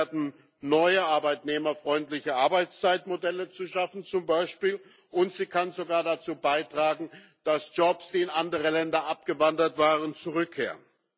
genutzt werden, neue arbeitnehmerfreundliche Arbeitszeitmodelle zu schaffen, und sie kann sogar dazu beitragen, dass Jobs, die in andere Länder abgewandert waren, zurückkehren.